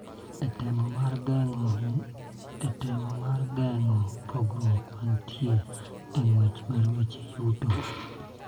E temo mar geng�o pogruok mantie e ng�wech mar weche yuto,